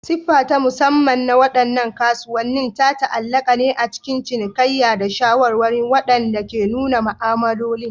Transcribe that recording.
Siffa ta musamman na waɗannan kasuwannin ta ta'allaka ne a cikin cinikayya da shawarwari waɗanda ke nuna ma'amaloli.